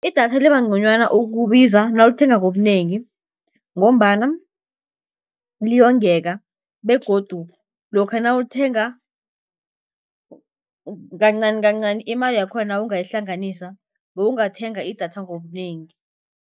Idatha liba nconywana ukubiza nawulithenga ngobunengi, ngombana liyongeka begodu lokha nawulithenga kancanikancani, imali yakhona nawungayihlanganisa bewungathenga idatha ngobunengi.